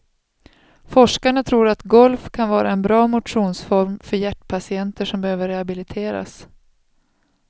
Forskarna tror att golf kan vara en bra motionsform för hjärtpatienter som behöver rehabiliteras.